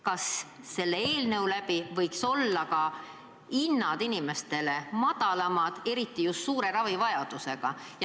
Kas seda eelnõu koostades mõeldi ka, et just suure ravivajadusega inimestele võiks kehtida madalamad hinnad?